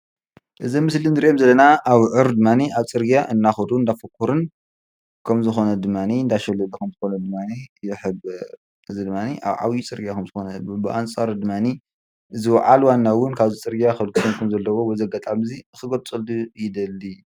እዚ ኣብ ምስሊ እንርእዮም ዘለና ኣብዑር ድማኒ ኣብ ፅርግያ እንደከዱን እንዳፈኮሩን ከም ዝኮነ ድማኒ እንዳሸለጉ ከም ዝኮኑ ድማኒ ይሕብር። እዚ ድማኒ ኣብ ዓብይ ፅርግያ ከም ዝኮነ ብኣንፃሩ ድማኒ እዚ በዓል ዋና እውን ካብዚ ፅርግያ ከልግሶም ከምዘለዎ በዚ ኣጋጣሚ እዚ ክገልፀሉ ይደሊ።